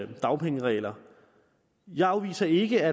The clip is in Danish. dagpengeregler jeg afviser ikke at